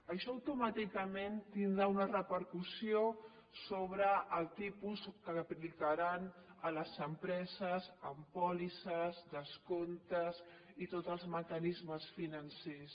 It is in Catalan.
això automàticament tindrà una repercussió sobre el tipus que aplicaran a les empreses amb pòlisses descomptes i tots els mecanismes financers